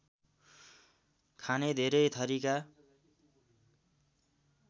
खाने धेरै थरीका